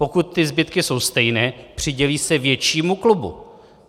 Pokud ty zbytky jsou stejné, přidělí se většímu klubu.